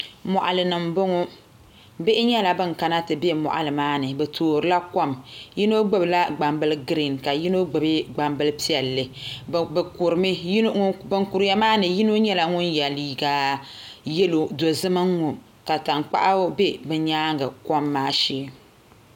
Moɣalini n boŋo bihi nyɛla ban kana ti bɛ moɣali maa ni bi toorila kom yino gbubila gbambili giriin ka yino gbubi gnambili piɛlli bi kurimi bin kuriya maani yino nyɛla ŋun yɛ liiga dozim n ŋo ka tankpaɣu bɛ bi nyaanga kom maa shee